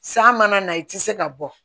San mana na i tɛ se ka bɔ